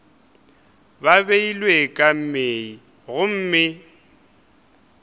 ba beilwe ka mei gomme